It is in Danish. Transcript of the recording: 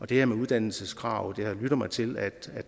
det her med uddannelseskrav har jeg lyttet mig til at